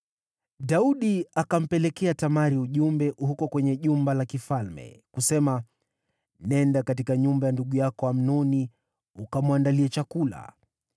Daudi akampelekea Tamari ujumbe huko kwenye jumba la kifalme, kusema: “Nenda katika nyumba ya ndugu yako Amnoni ukamwandalie chakula.”